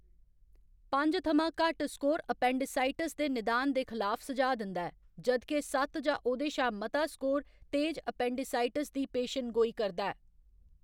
पंज थमां घट्ट स्कोर एपेंडिसाइटिस दे निदान दे खिलाफ सुझाऽ दिंदा ऐ, जद्के सत्त जां ओह्दे शा मता स्कोर तेज एपेंडिसाइटिस दी पेशेनगोही करदा ऐ।